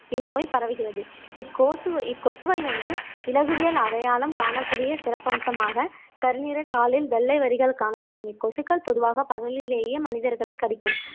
இந்நோய் பரவுகிறது இக்கோசு இக்கொசுவை வந்து இலகுவியல் அடையாளம் காணக்கூடிய சிறப்பம்சமாக கருநீறக் காலில் வெள்ளை வரிகள் காணப்படும் இக்கொசுக்கள் பொதுவாக பகலிலேயே மனிதர்களைக் கடிக்கும்